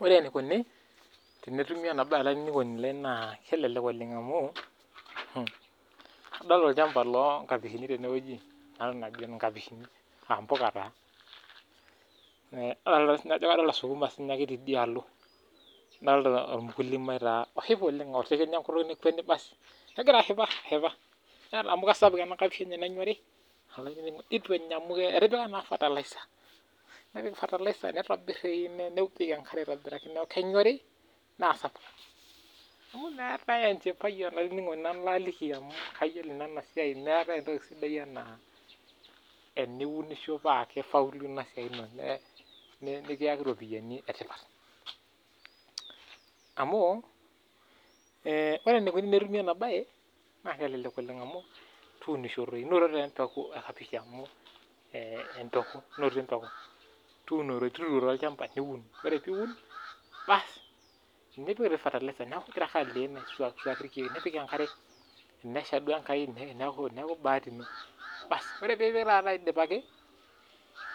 Ore enikoni tenetumi ena mbae naa kelelek oleng amu kadolita olchamba loo nkapishini tenewueji naa kadolita siniche sukuma tidialo nadolita oo mkulima oshipa oleng amu kisapuk ena kapish enye nenyori nituu Enya amu etipaka naa fertilizer nitobir nepiki enkare aitobiraki kenyori naa sapuk meetae entoki sidai ena teniunisho paa kifaulu ena siai nikiyaki eropiani etipat amu ore enikoni tenetumi ena mbae naa kelelek oleng amu tunisho doi noto embekuu ee kapish amu tuturo olchamba niun ore lee Eun nipik fertilizer neeku egira ake aleen aiswakiswaki irkeek nipik enkare tenesha duo enkai neeku bahati eno ore pee epik aidipaki